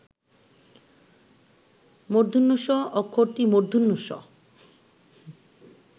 ষ অক্ষরটি মূর্ধন্য ষ